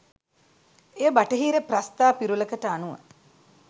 එය බටහිර ප්‍රස්තා පිරුළකට අනුව